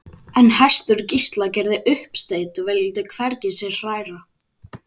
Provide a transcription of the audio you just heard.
En hestur Gísla gerði uppsteyt og vildi sig hvergi hræra.